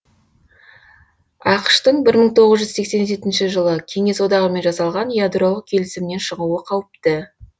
ақш тың бір мың тоғыз жүз сексен жетінші жылы кеңес одағымен жасалған ядролық келісімнен шығуы қауіпті